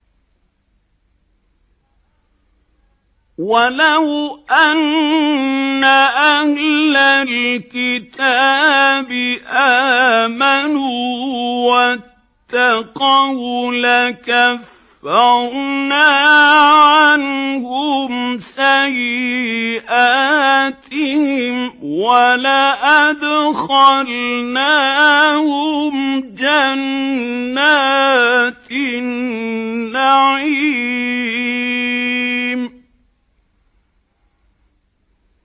وَلَوْ أَنَّ أَهْلَ الْكِتَابِ آمَنُوا وَاتَّقَوْا لَكَفَّرْنَا عَنْهُمْ سَيِّئَاتِهِمْ وَلَأَدْخَلْنَاهُمْ جَنَّاتِ النَّعِيمِ